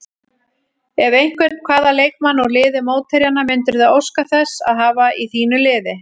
Ef einhvern, hvaða leikmann úr liði mótherjanna myndirðu óska þess að hafa í þínu liði?